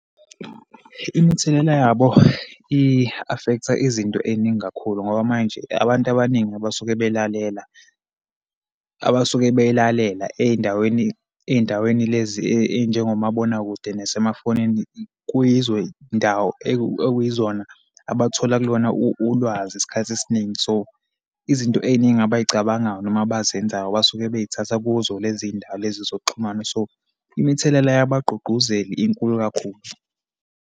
Imithelela yabo i-affect-a izinto eyiningi kakhulu, ngoba manje abantu abaningi abasuke belalela, abasuke beyilalela eyindaweni, eyindaweni lezi eyinjengomabonakude nasemafonini kuyizo yindawo ekuyizona abathola kulona ulwazi isikhathi esiningi. So, izinto eyiningi abayicabangayo, noma abazenzayo basuke beyithatha kuzo lezi yindawo lezi zokuxhumana. So, imithelela yabagqugquzeli inkulu kakhulu.